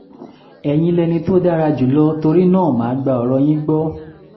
ẹ̀yin lẹni tó dára jùlọ torí náà mà á gba ọ̀rọ̀ yín gbọ́